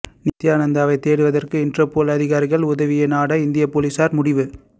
நித்தியானந்தாவை தேடுவதற்காக இண்டர்போல் அதிகாரிகள் உதவியை நாட இந்திய போலீசார் முடிவு